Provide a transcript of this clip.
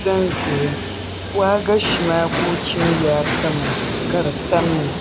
ʒɛnʒɛya waagashe maa ka o chim yaa pa maa ka di tamya